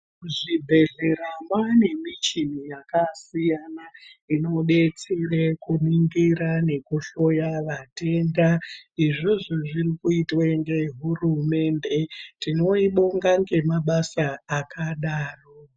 Kuzvibhedhlera kwane michini yakasiyana inodetsera kuningira nekuhloya matenda izvozvo zviri kuitwa nehurumende tinoibonga nemabasa akadaro.